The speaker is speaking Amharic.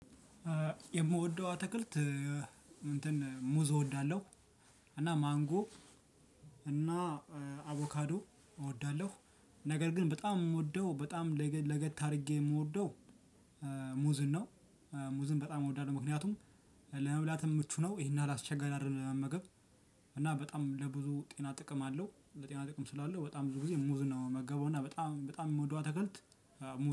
የምወደው አትክልት እንትን ሙዝ እወዳለሁ። እና ማንጎ እና አቮካዶ እወዳለሁ። ነገር ግን በጣም የምወደው በጣም ለገት አድርጌ የምወደው ሙዝን ነው። ሙዝን በጣም እወዳለሁ ምክንያቱም ለመብላትም ምቹ ነው ይሄን ያህል አስቸጋሪ አይደለም ለመመገብ። እና በጣም ለብዙ ጤና ጥቅም አለው ለጤና ጥቅም ስላለ በጣም ብዙ ጊዜ ሙዝ ነው የምመገበው። እና በጣም በጣም የምወደው አትክልት ሙዝ